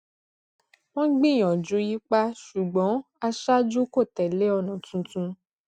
wọn gbìyànjú yípa ṣùgbọn aṣáájú kó tẹlé ònà tuntun